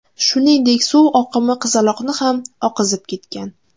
Shuningdek, suv oqimi qizaloqni ham oqizib ketgan.